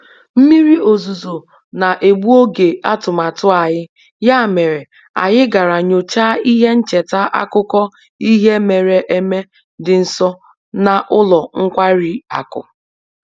Mmiri ozuzo na-egbu oge atụmatụ anyị, ya mere anyị gara nyochaa ihe ncheta akụkọ ihe mere eme dị nso na ụlọ nkwari akụ